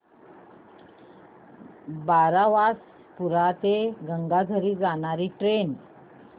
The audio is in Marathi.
बारबासपुरा ते गंगाझरी जाणारी ट्रेन